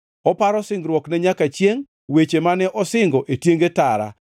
Oparo singruokne nyaka chiengʼ, weche mane osingo e tienge tara,